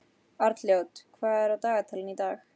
Arnljót, hvað er á dagatalinu í dag?